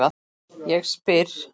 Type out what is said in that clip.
Ég spyr.